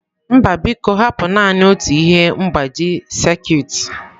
Mba biko hapụ naanị otu ihe mgbaji sekit.